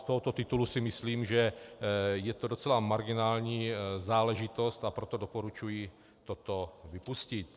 Z tohoto titulu si myslím, že je to docela marginální záležitost, a proto doporučuji toto vypustit.